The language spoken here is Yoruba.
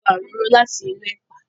a gbà òróró láti inú epa